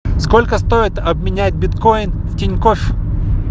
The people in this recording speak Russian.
сколько стоит обменять биткоин в тинькофф